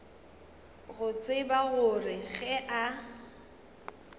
go tseba gore ge a